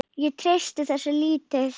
Ég treysti þessu lítið.